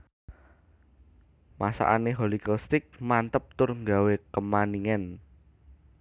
Masakane Holycow Steak mantep tur nggawe kemaningen